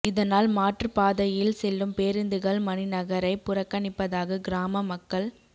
இதனால் மாற்றுப் பாதையில் செல்லும் பேருந்துகள் மணிநகரை புறக்கணிப்பதாக கிராம மக்கள்